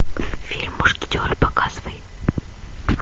фильм мушкетеры показывай